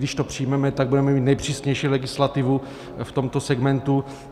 Když to přijmeme, tak budeme mít nejpřísnější legislativu v tomto segmentu.